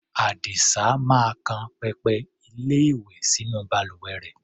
Àdìsá máa kan pẹpẹ-ilé-ìwẹ̀ sínú balùwẹ rẹ̀.